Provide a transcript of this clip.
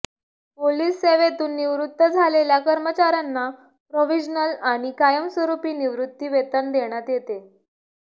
police सेवेतून निवृत्त झालेल्या कर्मचाऱ्यांना प्रोव्हिजनल आणि कायमस्वरूपी निवृत्ती वेतन देण्यात येते